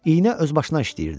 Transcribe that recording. İynə öz başına işləyirdi.